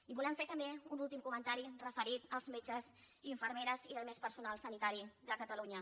i volem fer també un últim comentari referit als metges infermeres i altre personal sanitari de catalunya